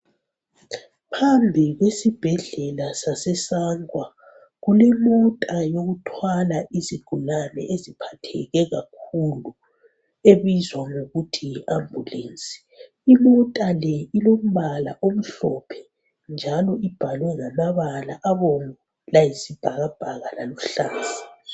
Phambi kwesibhedlela saseSangwa kulemota yokuthwala izigulane eziphatheke kakhulu ebizwa ngokuthi yiambulensi. Imota le ilombala omhlophe njalo ibhalwe ngamabala abomvu layisibhakabhaka laluhlaza.